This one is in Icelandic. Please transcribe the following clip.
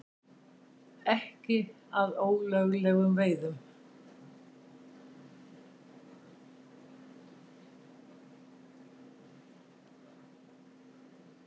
Ekki að ólöglegum veiðum